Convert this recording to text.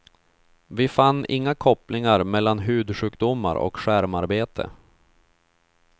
Vi fann inga kopplingar mellan hudsjukdomar och skärmarbete.